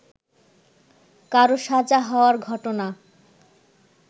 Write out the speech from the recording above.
কারো সাজা হওয়ার ঘটনা